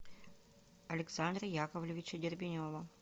александра яковлевича дербенева